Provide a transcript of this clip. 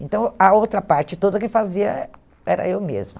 Então, a outra parte toda que fazia eh era eu mesma.